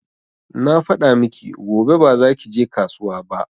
Na faɗa miki gobe ba za ki je kasuwa ba